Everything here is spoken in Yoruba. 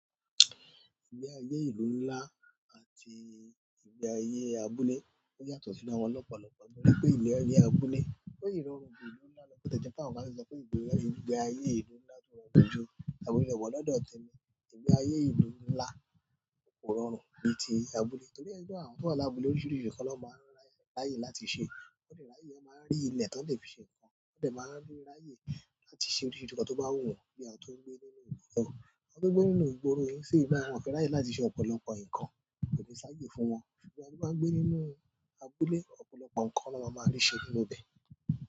Ìgbé ayé ìlú ńlá àti ìgbé ayé abúlé ó yàtọ̀ sí ara wọn lọ́pọ̀lọ́pọ̀ náà. Òní pẹ́ ìlérí abúlé pé ìrọ̀rùn ìlú ńlá ló gbọ́dọ̀ jẹ́ kí àwọn ká sì sọ pé ìgbé ayé ìlú ńlá tún rọrùn jù abúlé but lọ́dọ̀ tèmi. Ìgbé ayé ìlú ńlá kò rọrùn bíi ti abúlé torí ẹni tó wà lábúlé oríṣiríṣi kọ́ ló máa ń ráyè láti ṣe. Wọ́n dẹ̀ ráyè, wọn máa ń rí ilẹ̀ tó lè fi ṣe nǹkan. Wọ́n dẹ̀ máa ń rí ráyè láti ṣe oríṣìíríṣìí nǹkan tó bá wù wọ́n bí a tó ń gbé nínú ìlú náà. Àwọn tó ń gbé nínú ìgboro yìí sì máa ń fẹ́ ráyè láti ṣe ọ̀pọ̀lọpọ̀ ǹkan tò dẹ̀ sáayè fún wọn. Ṣùgbọ́n ẹni tí ó bá ń gbé nínú abúlé, ọ̀pọ̀lọpọ̀ ǹkan ló máa máa ní ṣe nínú ibẹ̀.